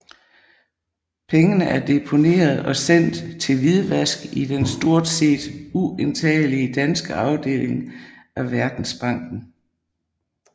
Pengene er deponeret og sendt til hvidvask i den stort set uindtagelige danske afdeling af Verdensbanken